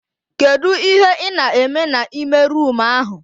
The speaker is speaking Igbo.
Kedụ ihe ị na eme na ime roomu ahụ?